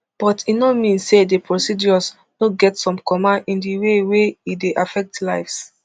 but e no mean say di procedures no get some comma in di way wey e dey affect lives